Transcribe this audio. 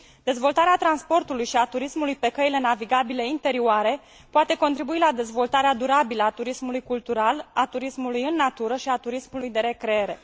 Dezvoltarea transportului și a turismului pe căile navigabile interioare poate contribui la dezvoltarea durabilă a turismului cultural, a turismului în natură și a turismului de recreere.